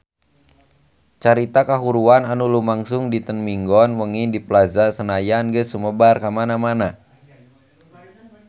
Carita kahuruan anu lumangsung dinten Minggon wengi di Plaza Senayan geus sumebar kamana-mana